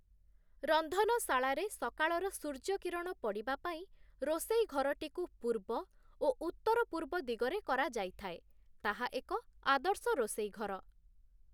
ରନ୍ଧନଶାଳାରେ ସକାଳର ସୂର୍ଯ୍ୟକିରଣ ପଡ଼ିବାପାଇଁ, ରୋଷେଇ ଘରଟିକୁ ପୂର୍ବ ଓ ଉତ୍ତରପୂର୍ବ ଦିଗରେ କରାଯାଇଥାଏ, ତାହା ଏକ ଆଦର୍ଶ ରୋଷେଇ ଘର ।